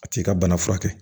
A t'i ka bana furakɛ